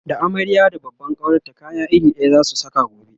da amarya da babban kawarta kaya iri ɗaya zasu Saka gobe